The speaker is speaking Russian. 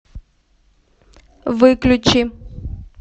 выключи